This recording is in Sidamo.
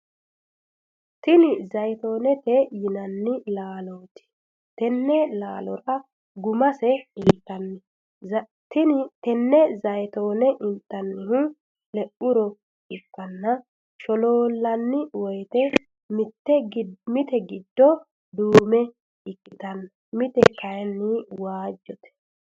Tinni zayitoonete yinnanni laalooti. Tenne laalora gumase intanni. Tenne zayitoone intannihu le'uro ikanna sholoolanni woyite mite gido duume ikitano mite kayinni waajite.